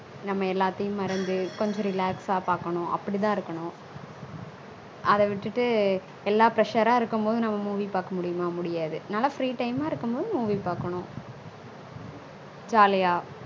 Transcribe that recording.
நம்ம எல்லாதியும் மறந்து கொஞ்சம் relax அஹ் பாக்கனும் அப்பிடி தா இருக்கனும் அத விட்டுட்டு எல்லா pressure அஹ் இருக்கும் போது நம்ம movie பாக்கா முடியும்மா முடியாது நல்லா free time அஹ் இருக்கும் போது movie பாக்கனும் jolly அஹ்